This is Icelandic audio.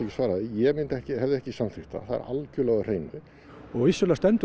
svara því ég hefði ekki samþykkt það það er algjörlega á hreinu vissulega stendur